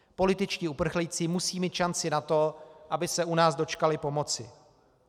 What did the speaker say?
Političtí uprchlíci musí mít šanci na to, aby se u nás dočkali pomoci.